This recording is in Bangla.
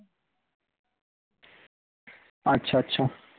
আচ্ছা আচ্ছা